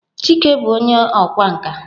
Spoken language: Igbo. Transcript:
Chike bụ onye ọkwá nkà.